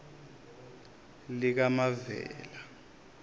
likamavela